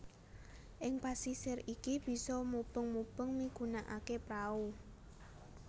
Ing pasisir iki bisa mubeng mubeng migunakaké prau